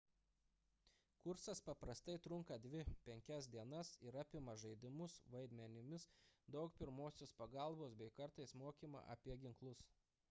kursas paprastai trunka 2–5 dienas ir apima žaidimus vaidmenimis daug pirmosios pagalbos bei kartais mokymą apie ginklus